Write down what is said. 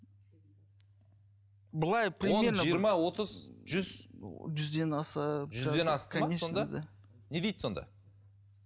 он жиырма отыз жүз жүзден аса жүзден не дейді сонда